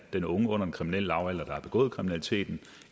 den unge under den kriminelle lavalder der har begået kriminaliteten